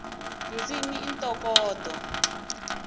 ndzimi i ntokoto